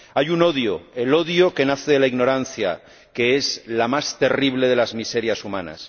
Hay un odio el odio que nace de la ignorancia, que es la más terrible de las miserias humanas.